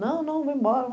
Não, não, vamos embora.